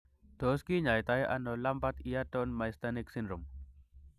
Tos kinyait ono Lambert Eaton myasthenic syndrome ?